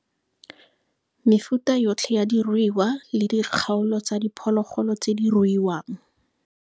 Mefuta yotlhe ya diruiwa le dikgaolo tsa diphologolo tse diruiwang.